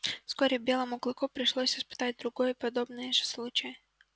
вскоре белому клыку пришлось испытать другой подобный же случай